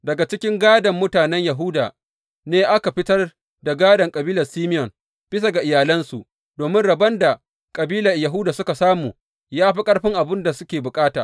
Daga cikin gādon mutanen Yahuda ne aka fitar da gādon kabilar Simeyon, bisa ga iyalansu, domin rabon da kabilar Yahuda suka samu ya fi ƙarfin abin da suke bukata.